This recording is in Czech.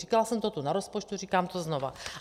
Říkala jsem to tu na rozpočtu, říkám to znova.